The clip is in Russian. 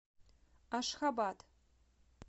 ашхабад